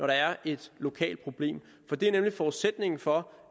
der er et lokalt problem det er nemlig forudsætningen for